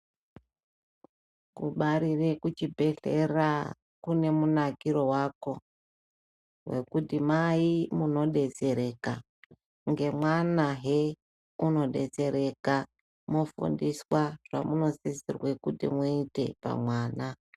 Kubarire kuchibhedlera kunemunakiro wako wekuti mai munodetsereka ngemwana yee unodetsereka kufundiswa zvamunosisirwe kuti muite pamwana.